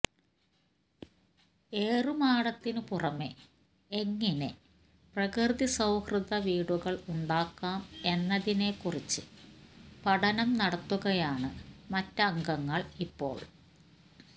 ഏറുമാടത്തിന് പുറമെ എങ്ങിനെ പ്രകൃതിസൌഹ്യദ വീടുകൾ ഉണ്ടാക്കാം എന്നതിനെ കുറിച്ച് പഠനം നടത്തുകയാണ് മറ്റംഗങ്ങൾ ഇപ്പോൾ